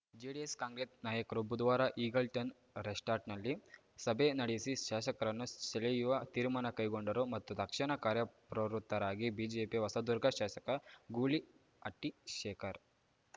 JDS Congress ನಾಯಕರು ಬುಧವಾರ Eagleton ರೆಸ್ರ್ಟ್‌ನಲ್ಲಿ ಸಭೆ ನಡೆಸಿ ಶಾಸಕರನ್ನು ಸೆಳೆಯುವ ತೀರ್ಮಾನ ಕೈಗೊಂಡರು ಮತ್ತು ತಕ್ಷಣ ಕಾರ್ಯಪ್ರವೃತ್ತರಾಗಿ ಬಿಜೆಪಿಯ ಹೊಸದುರ್ಗ ಶಾಸಕ ಗೂಳಿಹಟ್ಟಿಶೇಖರ್‌